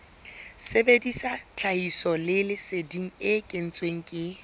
sebedisa tlhahisoleseding e kentsweng ke